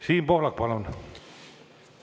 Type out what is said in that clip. Siim Pohlak, palun!